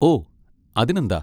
O, അതിനെന്താ!.